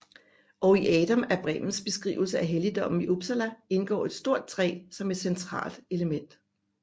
Og i Adam af Bremens beskrivelse af helligdommen i Uppsala indgår et stort træ som et centralt element